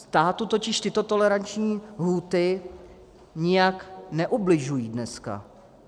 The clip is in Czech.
Státu totiž tyto toleranční lhůty nijak neubližují dneska.